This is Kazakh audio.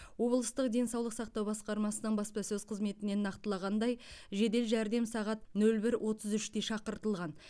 облыстық денсаулық сақтау басқармасының баспасөз қызметінен нақтылағандай жедел жәрдем сағат нөл бір отыз үште шақыртылған